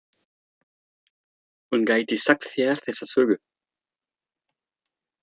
Hún gæti sagt þér þessa sögu.